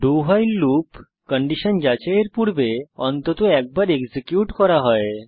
doভাইল loop condition যাচাইয়ের পূর্বে অন্তত একবার এক্সিকিউট করা হয়